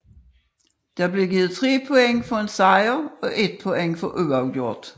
Der blev givet 3 point for en sejr og 1 point for uafgjort